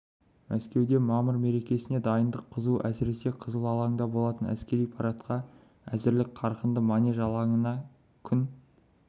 мәскеуде мамыр мерекесіне дайындық қызу әсіресе қызыл алаңда болатын әскери парадқа әзірлік қарқынды манеж алаңында күн